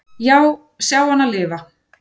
"""Já, sjá hana lifa."""